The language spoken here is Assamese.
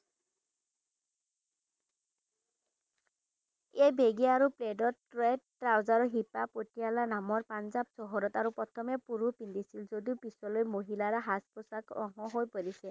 এই বেগে আৰু প্ৰডত ট্ৰেড trouser হিপা পাতিয়ালা নামৰ পাঞ্জাব চহৰত আৰু প্ৰথমে পুৰুষ পিন্ধিছিল যদিও পিচলৈ মহিলাৰ সাজ পোছাকৰ অংশ হৈ পৰিছে।